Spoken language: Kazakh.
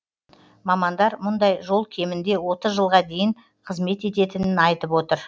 мамандар мұндай жол кемінде отыз жылға дейін қызмет ететінін айтып отыр